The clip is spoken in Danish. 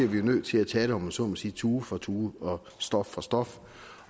vi nødt til at tage det om jeg så må sige tue for tue og stof for stof